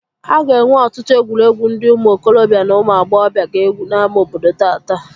A ga-enwe ọtụtụ egwuregwu ndị ụmụ okorobịa na ụmụ agbọghọbịa ga-egwu n'ámá obodo tata